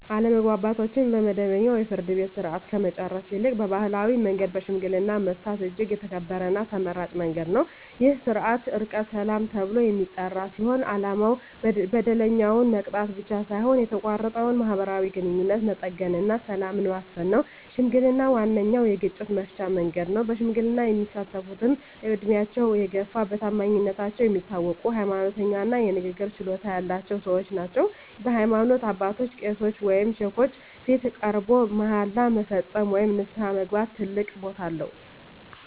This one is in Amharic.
አለመግባባቶችን በመደበኛው የፍርድ ቤት ሥርዓት ከመጨረስ ይልቅ በባሕላዊ መንገድ በሽምግልና መፍታት እጅግ የተከበረና ተመራጭ መንገድ ነው። ይህ ሥርዓት "ዕርቀ ሰላም" ተብሎ የሚጠራ ሲሆን፣ ዓላማው በደለኛውን መቅጣት ብቻ ሳይሆን የተቋረጠውን ማኅበራዊ ግንኙነት መጠገንና ሰላምን ማስፈን ነው። ሽምግልና ዋነኛው የግጭት መፍቻ መንገድ ነው። በሽምግልና የሚሳተፍትም ዕድሜያቸው የገፋ፣ በታማኝነታቸው የሚታወቁ፣ ሃይማኖተኛ እና የንግግር ችሎታ ያላቸው ሰዎች ናቸው። በሃይማኖት አባቶች (ቄሶች ወይም ሼኮች) ፊት ቀርቦ መሃላ መፈጸም ወይም ንስሐ መግባት ትልቅ ቦታ አለው።